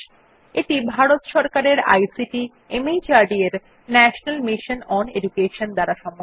এটি ভারত সরকারের আইসিটি মাহর্দ এর ন্যাশনাল মিশন ওন এডুকেশন দ্বারা সমর্থিত